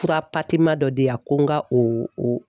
Fura dɔ di yan ko n ka o